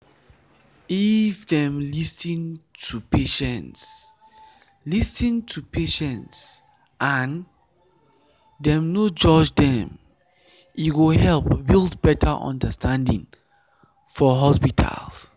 if dem lis ten to patients lis ten to patients and dem no judge them e go help build better understanding for hospital.